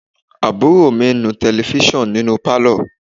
Àbúrò mi ń nu Tẹlifísàn nínú pálọ̀